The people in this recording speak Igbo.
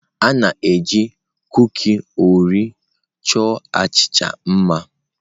A na-eji kuki Oreo chọọ achịcha mma.